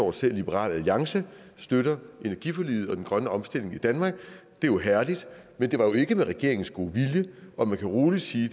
at selv liberal alliance støtter energiforliget og den grønne omstilling i danmark det er jo herligt men det var ikke med regeringens gode vilje og man kan rolig sige